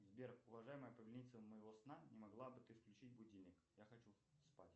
сбер уважаемая повелительница моего сна не могла бы ты включить будильник я хочу спать